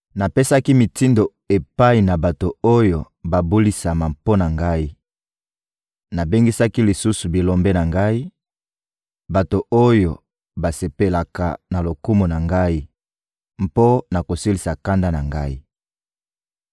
Napesaki mitindo epai na bato oyo babulisama mpo na Ngai; nabengisaki lisusu bilombe na Ngai, bato oyo basepelaka na lokumu na Ngai, mpo na kosilisa kanda na Ngai.